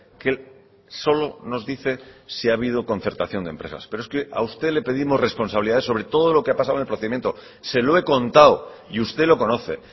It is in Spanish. que solo nos dice si ha habido concertación de empresas pero es que a usted le pedimos responsabilidades sobre todo lo que ha pasado en el procedimiento se lo he contado y usted lo conoce